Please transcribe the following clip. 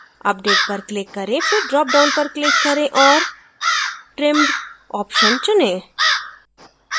update पर click करें फिर dropdown पर click करें और trimmed option चुनें